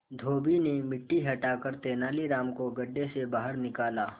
धोबी ने मिट्टी हटाकर तेनालीराम को गड्ढे से बाहर निकाला